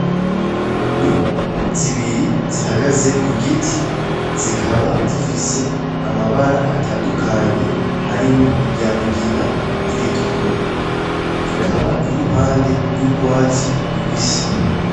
N'inyoni zibiri zihagaze kugiti zikaba zifise amabara atandukanye harimwo irya mugina n'iritukura, ikaba iri mpande y'urwatsi rubisi.